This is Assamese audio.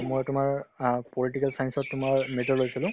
মই তোমাৰ অ political science ত তোমাৰ major লৈছিলো